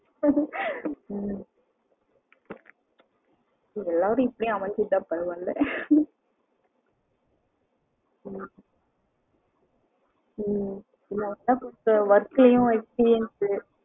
ம் எல்லொரும் இப்டியே அமைஞ்சிட்ட பரவ இல்ல ஆமா